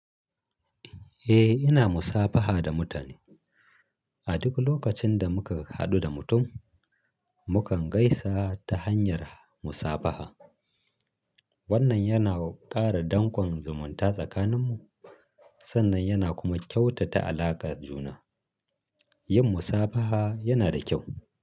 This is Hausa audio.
Eh, ina musabaha da mutane. A duk lokacin da muka haɗu da mutum, mukan gaisa ta hanyar musabaha. Wannan yana ƙara danƙon zumunta tsakaninmu sannan yana kuma kyautata alaƙar juna. Yin musabaha yana da kyau.